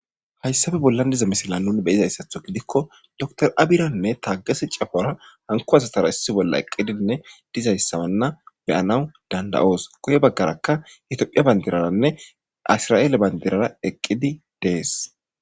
hayssafe bollan diza misila nun beyizayssatho gidikko dr abiranne taagesi cafora hanku asatara issi bolla eqqidinne dizayssamanna beyana dandayoos koye baggaraka hitophiya bandiraranne isra7eele bandirara eqqidi dees